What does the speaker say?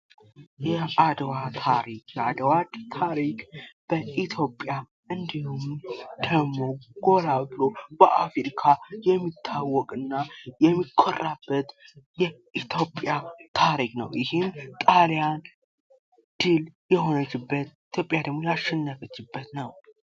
የአደዋ ታሪክ የአድዋ ታሪክ በኢትዮጵያ እንዲሁም ደሞ ጎላ ብሎ በአፍሪካ የሚታወቅና የሚኮራበት የኢትዮጵያ ታሪክ ነው ይሄ ጣሊያን ድል የሆነችበት ኢትዮጵያ ደሞ ያሸነፈችበት ነው ።